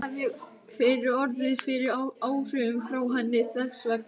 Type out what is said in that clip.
Líklega hef ég orðið fyrir áhrifum frá henni þess vegna.